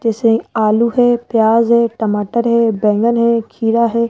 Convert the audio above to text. जैसे आलू है प्याज है टमाटर है बैंगन है खीरा है।